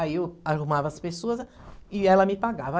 Aí eu arrumava as pessoas e ela me pagava.